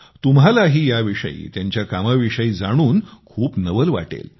तुम्हालाही याविषयी त्यांच्या कामाविषयी जाणून खूप नवल वाटेल